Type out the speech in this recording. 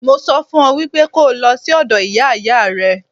Mo sọ fún ọ wípé kó o lọ sí ọ̀dọ̀ Ìyá Ìyá rẹ.